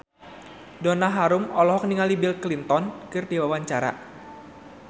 Donna Harun olohok ningali Bill Clinton keur diwawancara